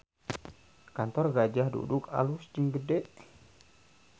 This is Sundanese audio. Kantor Gajah Duduk alus jeung gede